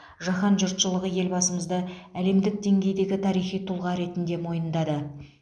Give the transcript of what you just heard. жаһан жұртшылығы елбасымызды әлемдік деңгейдегі тарихи тұлға ретінде мойындады